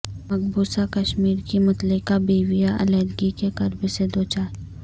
مقبوضہ کشمیر کی مطلقہ بیویاں علحدگی کے کرب سے دوچار